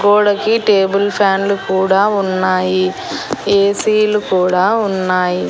గోడకి table fan లు కూడా ఉన్నాయి ఏసీ లు కూడా ఉన్నాయ్.